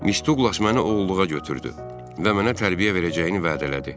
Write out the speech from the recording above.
Miss Duqlas məni oğulluğa götürdü və mənə tərbiyə verəcəyini vədə elədi.